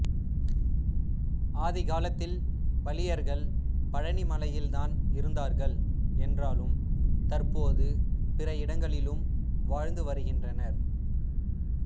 ஆதிகாலத்தில் பளியர்கள் பழனிமலையில் தான் இருந்தார்கள் என்றாலும் தற்போது பிற இடங்களிலும் வாழ்ந்து வருகின்றனர்